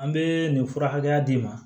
An bɛ nin fura hakɛya d'i ma